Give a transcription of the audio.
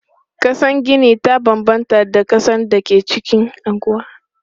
Kasan gini ta banbanta da kasan da ke a anguwa.